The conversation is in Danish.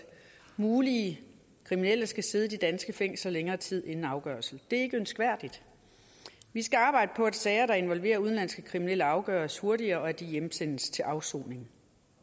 muligt kriminelle skal sidde i danske fængsler i længere tid inden afgørelse det er ikke ønskværdigt vi skal arbejde på at sager der involverer udenlandske kriminelle afgøres hurtigere og at de hjemsendes til afsoning